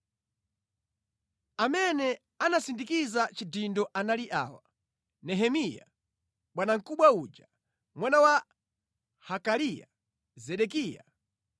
Amene anasindikiza chidindo anali awa: Nehemiya, bwanamkubwa uja, mwana wa Hakaliya. Zedekiya,